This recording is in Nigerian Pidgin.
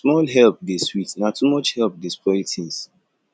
small help dey sweet na too much help dey spoil tins